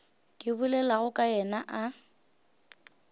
ke bolelago ka yena a